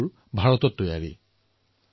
গ্ৰাহকেও ভাৰতত নিৰ্মিত পুতলা ক্ৰয় কৰিছে